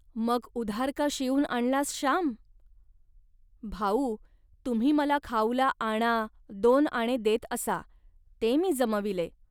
मग उधार का शिवून आणलास, श्याम. भाऊ, तुम्ही मला खाऊला आणा, दोन आणे देत असा, ते मी जमविले